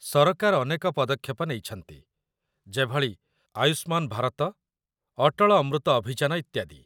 ସରକାର ଅନେକ ପଦକ୍ଷେପ ନେଇଛନ୍ତି, ଯେଭଳି ଆୟୁଷ୍ମାନ ଭାରତ, ଅଟଳ ଅମୃତ ଅଭିଯାନ, ଇତ୍ୟାଦି